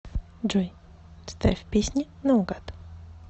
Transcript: джой ставь песни на угад